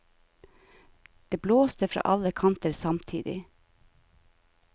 Det blåste fra alle kanter samtidig.